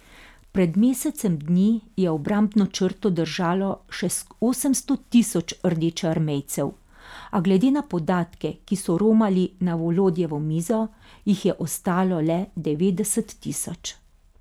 Pred mesecem dni je obrambno črto držalo še osemsto tisoč rdečearmejcev, a glede na podatke, ki so romali na Volodjevo mizo, jih je ostalo le devetdeset tisoč.